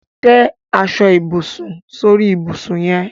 Te aso-ibusun sori ibusun yen